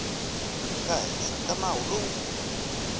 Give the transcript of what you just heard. nga ehansi ka nawu lowu